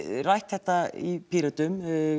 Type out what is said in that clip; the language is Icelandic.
rætt þetta í Pírötum